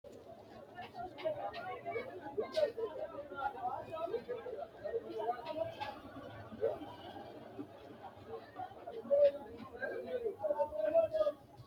Tenne basera leelano seeninna labbali ganba yee noo basera mimitinsa ledo ganba yee loosani noori maati angasanni amadde noori maati